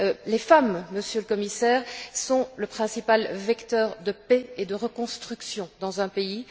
Les femmes, Monsieur le Commissaire, sont le principal vecteur de paix et de reconstruction dans un pays.